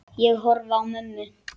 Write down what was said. Ég horfi á mömmu.